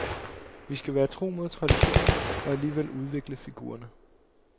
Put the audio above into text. Vi skal være tro mod traditionen og alligevel udvikle figurerne.